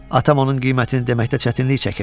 Atam onun qiymətini deməkdə çətinlik çəkirdi.